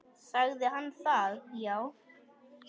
Sagði hann það já.